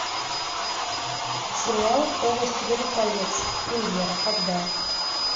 сериал по властелину колец премьера когда